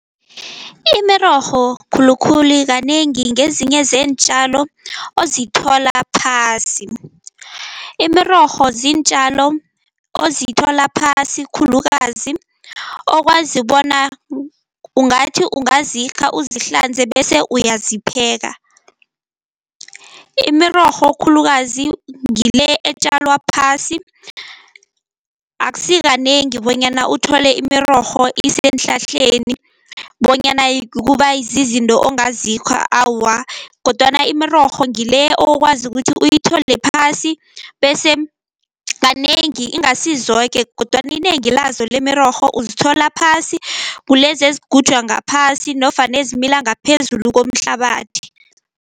Imirorho khulukhulu kanengi ngezinye zeentjalo ozithola phasi. Imirorho ziintjalo ozithola phasi khulukazi okwazi bona ungathi ungazikha uzihlanze bese uyazipheka. Imirorho khulukazi ngile etjalwa phasi, akusi kanengi bonyana uthole imirorho iseenhlahleni bonyana kuba zizinto ongazikha awa. Kodwana imirorho ngileya okwazi ukuthi uyithole phasi, bese kanengi ingasi zoke kodwana inengi lazo lemirorho uzithola phasi, ngulezi ezigujwa ngaphasi nofana ezimila ngaphezulu komhlabathi.